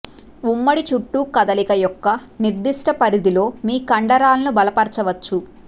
ఉమ్మడి చుట్టూ కదలిక యొక్క నిర్దిష్ట పరిధిలో మీ కండరాలను బలపరచవచ్చు